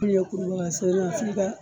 Min ye kurubaga